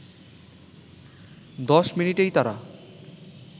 দশ মিনিটেই তারা